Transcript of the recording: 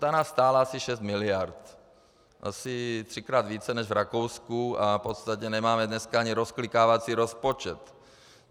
Ta nás stála asi 6 mld, asi třikrát více než v Rakousku, a v podstatě nemáme dneska ani rozklikávací rozpočet.